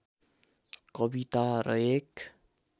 कविता र एक